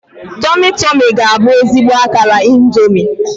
Tomi-Tomi ga-abụ ezigbo akara Indomi.